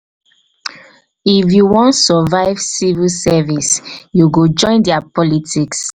if you wan survive civil service you go join their politics.